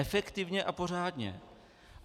Efektivně a pořádně.